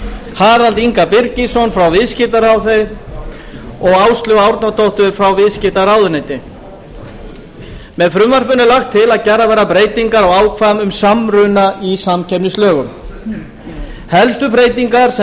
harald inga birgisson frá viðskiptaráði og áslaugu árnadóttur frá viðskiptaráðuneyti með frumvarpinu er lagt til að gerðar verði breytingar á ákvæðum um samruna í samkeppnislögum helstu breytingar sem